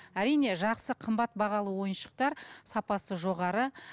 әрине жақсы қымбат бағалы ойыншықтар сапасы жоғары